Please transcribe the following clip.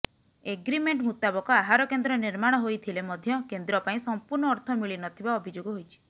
agreement ମୁତାବକ ଆହାର କେନ୍ଦ୍ର ନିର୍ମାଣ ହୋଇଥିଲେ ମଧ୍ୟ କେନ୍ଦ୍ର ପାଇଁ ସଂପୂର୍ଣ୍ଣ ଅର୍ଥ ମିଳିନଥିବା ଅଭିଯୋଗ ହୋଇଛି